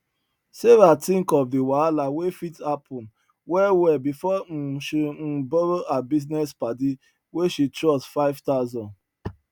sarah think of the wahala wey fit happen well well before um she um borrow her business padi wey she trust five thousand